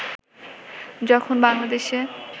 যখন বাংলাদেশে